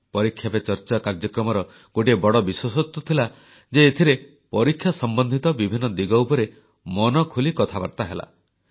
ପରୀକ୍ଷା ପେ ଚର୍ଚ୍ଚା କାର୍ଯ୍ୟକ୍ରମର ଗୋଟିଏ ବଡ଼ ବିଶେଷତ୍ୱ ଥିଲା ଯେ ଏଥିରେ ପରୀକ୍ଷା ସମ୍ବନ୍ଧିତ ବିଭିନ୍ନ ଦିଗ ଉପରେ ମନଖୋଲି କଥାବାର୍ତ୍ତା ହେଲା